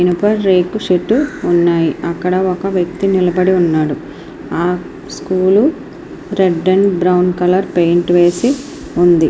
ఇనుప రేకు షెడ్డు ఉనాయ్ అక్కడ ఒక వ్యక్తి నిలబడి ఉన్నాడు ఆ school red and brown colour paint వేసి ఉంది.